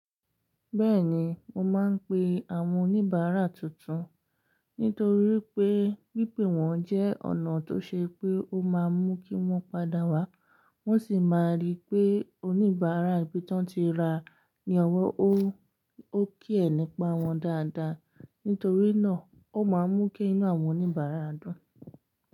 Bẹ́ẹ̀ni, mo máa ń pe àwọn oníbàárà tuntun nítorí pé pípè wọ́n jẹ́ ọ̀nà tó ṣe pé ó máa mú kí wọ́n padà wá. Wọ́n sì máa rí pé oníbàárà ìbí ti wọ́n tí ra ni ọ̀wọ́ ó. Ó kí ẹ̀ nípa wọn dáadáa. Nítorí náà, ó máa mú kí inú àwọn oníbàárà dùn.